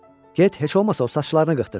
Get heç olmasa o saçlarını qıxdır.